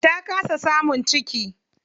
Ta kasa samun ciki.